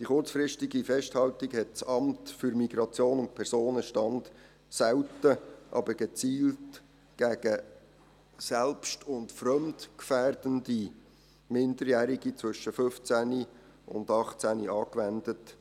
Die kurzfristige Festhaltung hat das Amt für Migration und Personenstand (MIP) selten, aber gezielt gegen selbst- und fremdgefährdende Minderjährige zwischen 15 und 18 Jahren angewendet.